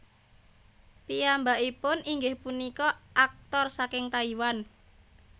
Piyambakipun inggih punika aktor saking Taiwan